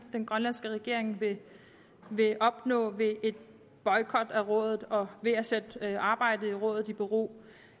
den grønlandske regering vil opnå ved en boykot af rådet og ved at sætte arbejdet i rådet i bero